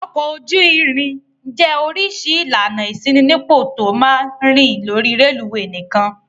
Ọkọ̀ ojú-irin jẹ́ oríṣi ìlànà ìṣínípò tó máa ń rìn lórí rélùúwè nìkan.